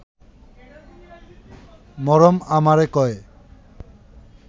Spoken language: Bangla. মরম আমারে কয়ে